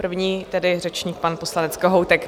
První tedy řečník, pan poslanec Kohoutek.